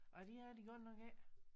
Ej det er de godt nok ikke